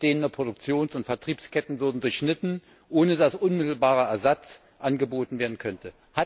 Bestehende Produktions und Vertriebsketten würden durchschnitten, ohne dass unmittelbarer Ersatz angeboten werden könnte.